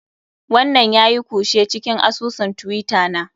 Wannan yayi kushe cikin asusun twitter na.